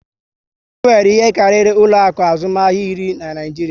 E nwere ihe karịrị ụlọ akụ azụmahịa iri na Naịjiria